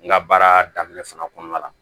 N ka baara daminɛ fana kɔnɔna la